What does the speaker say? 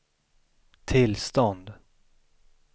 tillstånd